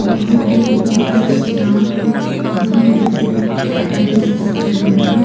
समुंदर के बीचो बीच नाव में दो व्यक्ती तेराकी कर रहे है।